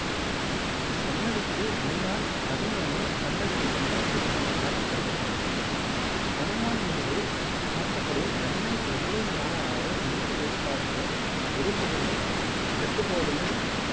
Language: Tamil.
சந்நதிக்கு முன்னால் ஹனுமானும் சந்நதிக்குப் பின்னால் கிருஷ்ணனும் காட்சி தருகின்றனர். ஹனுமான் மீது சாத்தப்படும் வெண்ணெய் எவ்வளவு நாளானாலும் எந்த வெயில் காலத்திலும் உருகுவதுல்லன் கெட்டுப் போவதுமில்லன்னு